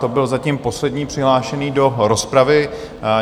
To byl zatím poslední přihlášený do rozpravy.